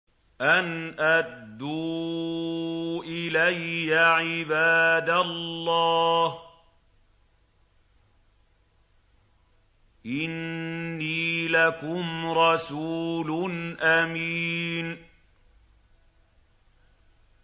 أَنْ أَدُّوا إِلَيَّ عِبَادَ اللَّهِ ۖ إِنِّي لَكُمْ رَسُولٌ أَمِينٌ